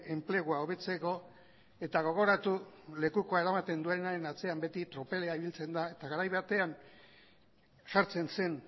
enplegua hobetzeko eta gogoratu lekukoa eramaten duenaren atzean beti tropela ibiltzen da eta garai batean jartzen zen